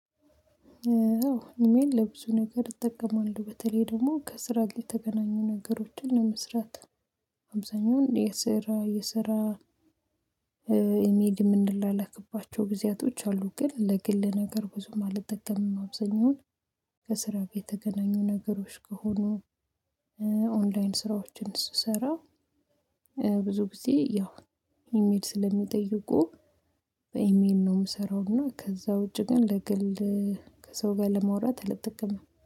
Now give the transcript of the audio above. አዎ ኑሜን ለብዙ ነገር እጠቀማለሁ በተለይ ደግሞ ከስራ ላይ የተገናኙ ነገሮችን ለመስራት። አብዛኛውን የስራ የስራ 'ኢሜጅ' የምንላላክባቸው ጊዜያቶች አሉ። ግን ለግል ነገር ብዙም አልጠቀምም አብዛኛውን። ከስራ የተገናኙ ነገሮች ከሆኑ ኦንላይን ስራዎችን ስሰራ ብዙ ጊዜ ያው ኢሜል ስለሚጠይቁ በኢሜል ነው የምሰራው። እና ከዛ ውጪ ግን ለግል ከሰው ጋር ለማውራት አልጠቀምም።